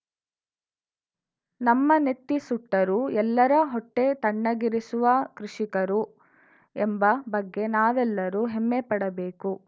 ನಮ್ಮ ನೆತ್ತಿ ಸುಟ್ಟರೂ ಎಲ್ಲರ ಹೊಟ್ಟೆತಣ್ಣಗಿರಿಸುವ ಕೃಷಿಕರು ಎಂಬ ಬಗ್ಗೆ ನಾವೆಲ್ಲರೂ ಹೆಮ್ಮೆಪಡಬೇಕು